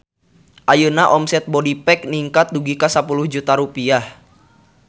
Ayeuna omset Bodypack ningkat dugi ka 10 juta rupiah